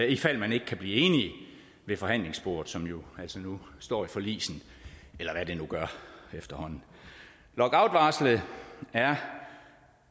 ifald man ikke kan blive enige ved forhandlingsbordet som jo altså nu står i forligsen eller hvad det nu gør efterhånden lockoutvarslet er